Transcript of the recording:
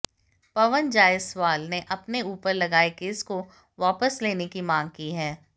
पवन जायसवाल ने अपने उपर लगाए केस को वापस लेने की मांग की है